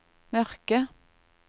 mørke